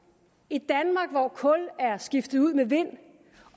et danmark hvor kul er skiftet ud med vind